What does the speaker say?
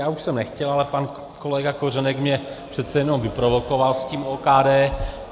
Já už jsem nechtěl, ale pan kolega Kořenek mě přece jen vyprovokoval s tím OKD.